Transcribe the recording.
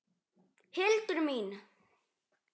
Hildur mín!